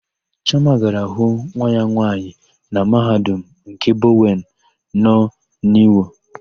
Chioma gara hụ nwa ya nwaanyị na Mahadum nke Bọwen nọ n'Iwo.